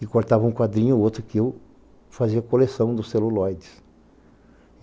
E cortava um quadrinho ou outro que eu fazia coleção dos celulóides.